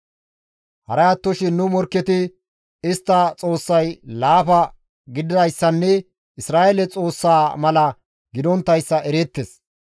Haray attoshin nu morkketi istta xoossay laafa gididayssanne Isra7eele Xoossaa mala gidonttayssa ereettes.